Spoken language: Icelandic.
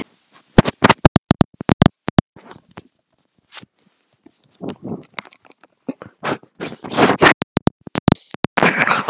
Baldvin var á ellefta ári.